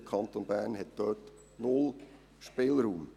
Der Kanton Bern hat hier null Spielraum.